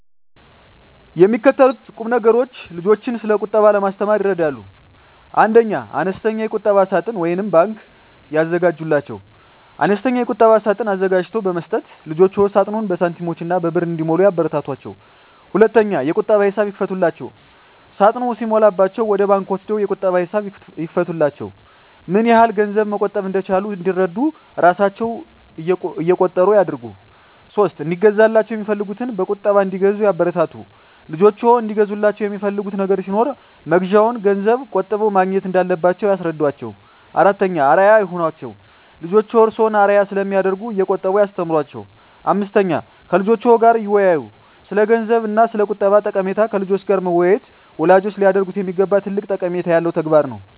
የሚከተሉት ቁምነገሮች ልጆችን ስለቁጠባ ለማስተማር ይረዳሉ 1. አነስተኛ የቁጠባ ሳጥን (ባንክ) ያዘጋጁላቸው፦ አነስተኛ የቁጠባ ሳጥን አዘጋጅቶ በመስጠት ልጆችዎ ሳጥኑን በሳንቲሞችና በብር እንዲሞሉ ያበረታቷቸው። 2. የቁጠባ ሂሳብ ይክፈቱላቸው፦ ሳጥኑ ሲሞላላቸው ወደ ባንክ ወስደው የቁጠባ ሂሳብ ይክፈቱላቸው። ምንያህል ገንዘብ መቆጠብ እንደቻሉ እንዲረዱ እራሣቸው እቆጥሩ ያድርጉ። 3. እንዲገዛላቸው የሚፈልጉትን በቁጠባ እንዲገዙ ያበረታቱ፦ ልጆችዎ እንዲገዙላቸው የሚፈልጉት ነገር ሲኖር መግዣውን ገንዘብ ቆጥበው ማግኘት እንዳለባቸው ያስረዷቸው። 4. አርአያ ይሁኗቸው፦ ልጆችዎ እርስዎን አርአያ ስለሚያደርጉ እየቆጠቡ ያስተምሯቸው። 5. ከልጆችዎ ጋር ይወያዩ፦ ስለገንዘብ እና ስለቁጠባ ጠቀሜታ ከልጆች ጋር መወያየት ወላጆች ሊያደርጉት የሚገባ ትልቅ ጠቀሜታ ያለው ተግባር ነው።